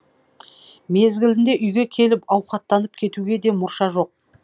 мезгілінде үйге келіп ауқаттанып кетуге де мұрша жоқ